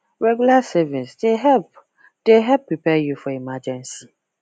regular savings dey help dey help prepare you for emergency